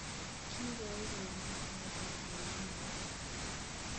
Kigoi koimak meetab werinyin